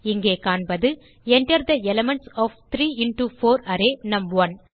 இங்கே காண்பது Enter the elements of 3 into 4 array நும்1